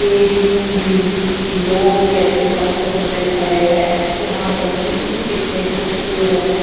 ये ग्रीनरी ये लोग कैसे पथरों पे खड़े है यहाँ पर ट्रीस कितने खूबसूरत है।